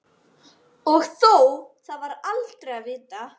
Og þó það er aldrei að vita.